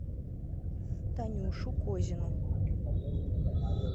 танюшу козину